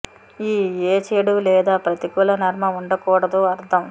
ఈ ఏ చెడు లేదా ప్రతికూల నర్మ ఉండకూడదు అర్థం